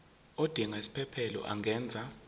odinga isiphesphelo angenza